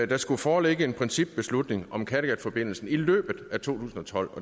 der skulle foreligge en principbeslutning om kattegatforbindelsen i løbet af 2012